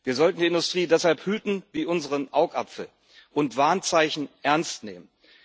Wir sollten die Industrie deshalb hüten wie unseren Augapfel und Warnzeichen ernst nehmen.